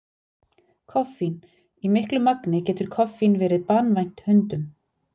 Koffín: Í miklu magni getur koffín verið banvænt hundum.